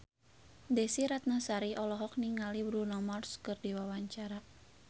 Desy Ratnasari olohok ningali Bruno Mars keur diwawancara